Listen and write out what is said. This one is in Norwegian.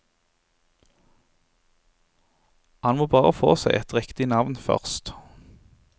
Han må bare få seg et riktig navn først.